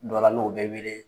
Dɔ la n'o bɛ wele